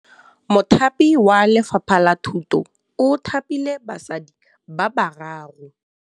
Mothapi wa Lefapha la Thutô o thapile basadi ba ba raro.